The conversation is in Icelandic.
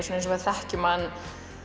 eins og við þekkjum hann